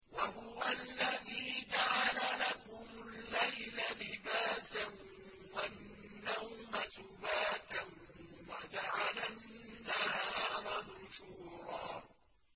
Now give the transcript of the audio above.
وَهُوَ الَّذِي جَعَلَ لَكُمُ اللَّيْلَ لِبَاسًا وَالنَّوْمَ سُبَاتًا وَجَعَلَ النَّهَارَ نُشُورًا